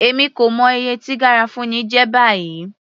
Èmi kò mọ iye tí garafuni jẹ́ báyìí.